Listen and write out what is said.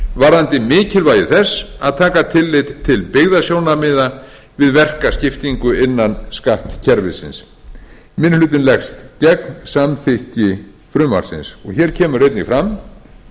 varðandi mikilvægi þess að taka tillit til byggðasjónarmiða við verkaskiptingu innan skattkerfisins minni hlutinn leggst gegn samþykkt frumvarpsins hér kemur einnig fram